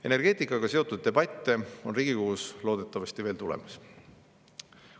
Energeetikaga seotud debatte on Riigikogus loodetavasti veel tulemas.